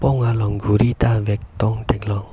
arpong along ghuri ta vekdong theklong.